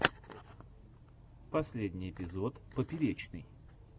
последний эпизод поперечный